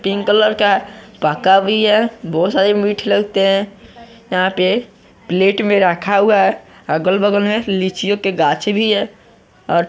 pink colour का पका भी है बहुत सारे मिठ लगते हैं यहां पे प्लेट में रखा हुआ है अगल बगल में लीचीओ की गाछी भी है और--